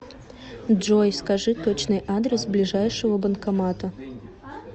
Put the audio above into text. джой скажи точный адрес ближайшего банкомата